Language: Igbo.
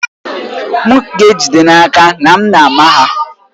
M ga-ejide n'aka na m na-ama ha ya.